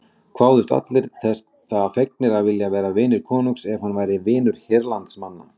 Kváðust allir það fegnir vilja að vera vinir konungs ef hann væri vinur hérlandsmanna.